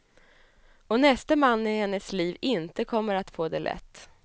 Och näste man i hennes liv inte kommer att få det lätt.